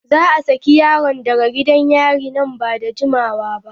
Za a saki yaron daga gidan yari nan ba da jimawa ba.